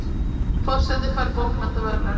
Forseti fær bókmenntaverðlaun